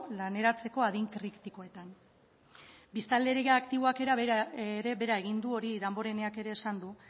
laneratzeko adin kritikoetan biztanleria aktiboak ere behera egin du hori damboreneak ere esan du